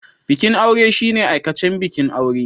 Bikin aure shine aikacen bikin aure.